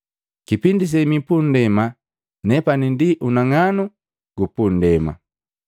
Kipindi semi pundema nepani ndi unang'anu gupundema.”